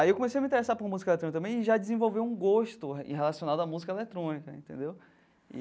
Aí eu comecei a me interessar por música eletrônica também e já desenvolveu um gosto em relacionado à música eletrônica, entendeu?